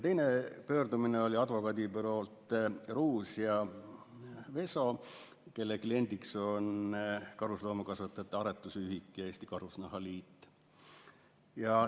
Teine pöördumine oli advokaadibüroolt Ruus & Veso, kelle kliendid on Eesti Karusloomakasvatajate Aretusühing ja Eesti Karusnahaliit.